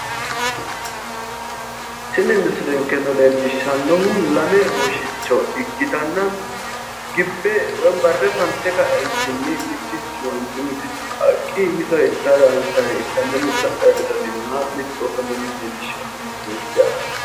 Tini misilenkeno leellishshannohu lame woshicho ikkitanna gibbe woyi barre fante ka'eentinni mittichu manchi woyi mittichu qaaqqi mitore intayire hansayi ikkanna mittu adhayi dodanni nooha mittu ofolle nooha leellishshanno misileeti yaati.